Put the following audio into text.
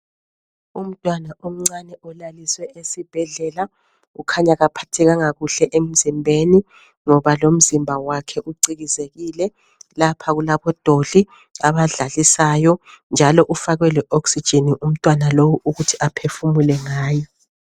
Umntwana omncane ulaliswe esibhedlela ukhanya akaphathekanga kahle emzimbeni ngoba lomzimba wakhe ucikizekile lapha okulabodoli abadlalisayo njalo ufakwe leoxygen umntwana lo ukughi aphefumule ngayo